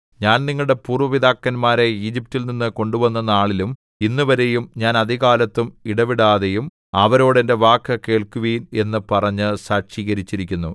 ഞാൻ നിങ്ങളുടെ പൂര്‍വ്വ പിതാക്കന്മാരെ ഈജിപ്റ്റിൽനിന്നു കൊണ്ടുവന്ന നാളിലും ഇന്നുവരെയും ഞാൻ അതികാലത്തും ഇടവിടാതെയും അവരോട് എന്റെ വാക്കു കേൾക്കുവിൻ എന്നു പറഞ്ഞ് സാക്ഷീകരിച്ചിരിക്കുന്നു